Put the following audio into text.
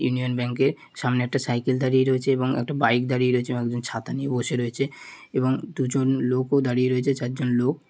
Union Bank -এ সামনে একটা সাইকেল দাঁড়িয়ে রয়েছে এবং একটা বাইক দাঁড়িয়ে রয়েছে। একদম ছাতা নিয়ে বসে রয়েছে এবং দুজন লোকও দাঁড়িয়ে রয়েছে। চারজন লোক--